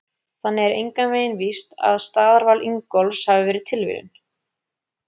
Þannig er engan veginn víst að staðarval Ingólfs hafi verið tilviljun!